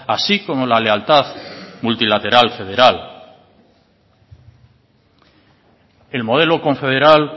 así como la lealtad multilateral federal el modelo confederal